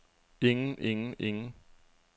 ingen ingen ingen